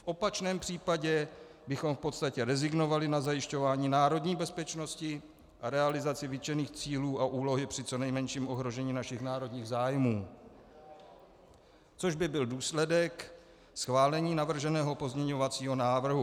V opačném případě bychom v podstatě rezignovali na zajišťování národní bezpečnosti a realizaci vytčených cílů a úlohy při co nejmenším ohrožení našich národních zájmů, což by byl důsledek schválení navrženého pozměňovacího návrhu.